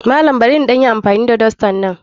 Malam barin ɗan yi amfani da dastan nan?